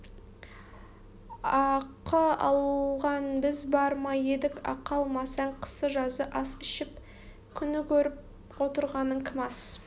ақы алған біз бар ма едік ақы алмасаң қысы-жазы ас ішіп күн көріп отырғаның кім ас